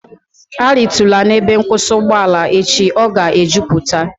A ritula n'ebe nkwụsị ugboala echi, ọ ga e jupụta!